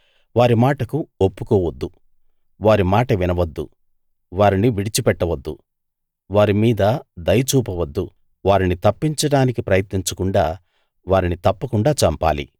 వారి మాటకు ఒప్పుకోవద్దు వారి మాట వినవద్దు వారిని విడిచిపెట్టవద్దు వారి మీద దయ చూపవద్దు వారిని తప్పించడానికి ప్రయత్నించకుండా వారిని తప్పకుండా చంపాలి